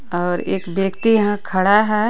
और एक व्यक्ति यहाँ खड़ा हे.